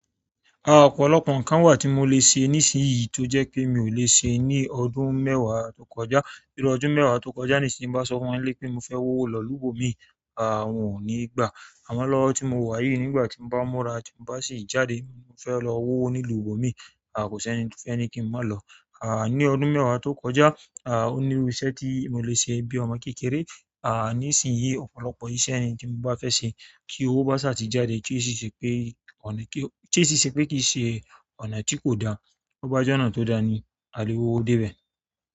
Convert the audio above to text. Ọ̀pọ̀lọpọ̀ nkan wa ti mo le se nisinyin to je pe mio le se ni ọdún mewa nínú ọdún mewa tokoja nisin, ti n ba so fún won ni ile pe mofe lo ìlú mi, won ni gba. Àmọ́ lọ́wọ́ tí mo wà yìí nígbà tí mo bá múra tí mo bá sì jáde mo fẹ́ lọ wówo nílùú òbí mi, à kò sí ẹni tí ó fẹ́ kí n má lọ̀. À ní ọdún mẹ́wàá tó kọjá, à ó ní irú iṣẹ́ tí mo lè ṣe bíi ọmọ kékeré. À nísinsìnyí ọ̀pọ̀lọpọ̀ iṣẹ́ ẹni tí mo bá fẹ́ ṣe kí owó bá sì ṣàtijáde kí ó sì ṣe pé kò lè kí ó sì ṣe pé kì í ṣe ọ̀nà tí kò da, ó bá jọ̀nà tó da ní a lè wo dé bẹ̀.